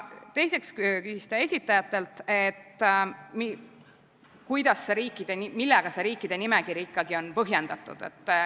Teiseks küsis ta esitajatelt, millega see riikide nimekiri ikkagi põhjendatud on.